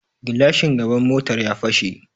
gilashin gaban motar ya fashe